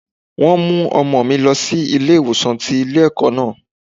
Wọ́n mú ọmọ mi lọ sí ilé ìwòsàn tí ilé ẹ̀kọ́ náà.